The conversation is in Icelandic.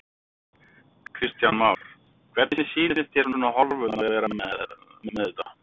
Kristján Már: Hvernig sýnist hér svona horfurnar vera með, með þetta?